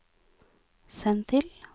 send til